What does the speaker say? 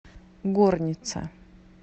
горница